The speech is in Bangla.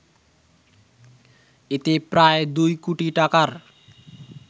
এতে প্রায় দুই কোটি টাকার